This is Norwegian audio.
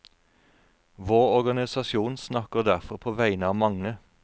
Vår organisasjon snakker derfor på vegne av mange.